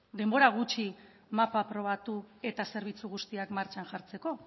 denbora gutxi mapa aprobatu eta zerbitzu guztiak martxan jartzeko